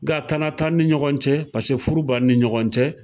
Nga tana t'an ni ɲɔgɔn cɛ. Paseke furu b'an ni ɲɔgɔn cɛ.